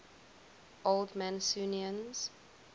old mancunians